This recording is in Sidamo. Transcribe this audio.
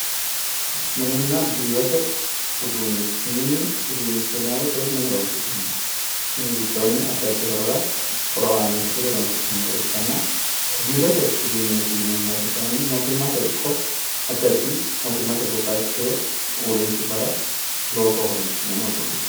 Mininna biirote uduunne mini uduunnicho yinay woyte mine horoonsi'nanniho ikkanana biirote uduunneeti yineemmo woyte addi addiwa mootimmate hundaanni horoonsi'neemmohonna babbaxitinno uurrishshuwawa